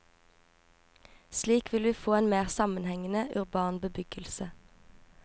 Slik vil vi få en mer sammenhengende, urban bebyggelse.